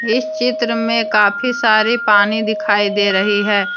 इस चित्र में काफी सारी पानी दिखाई दे रही है।